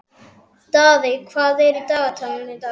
Daðey, hvað er í dagatalinu í dag?